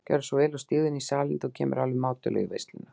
Gjörðu svo vel og stígðu í salinn, þú kemur alveg mátulega í veisluna.